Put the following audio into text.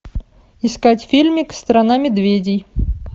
искать фильмик страна медведей